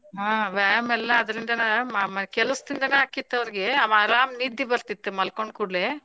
ಹಾ ವ್ಯಾಯಾಮ ಎಲ್ಲಾ ಅದ್ರಿಂದಾನ ಕೆಲಸದಿಂದನ ಆಕ್ಕಿತ್ ಅವ್ರಿಗ ಆರಾಮ ನಿದ್ದಿ ಬರ್ತಿತ್ತ ಮಲ್ಕೊಂಡ ಕೂಡ್ಲೇ.